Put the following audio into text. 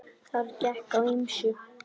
Þar gekk á ýmsu.